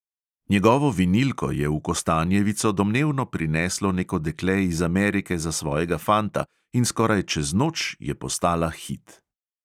Njegovo vinilko je v kostanjevico domnevno prineslo neko dekle iz amerike za svojega fanta in skoraj čez noč je postala hit.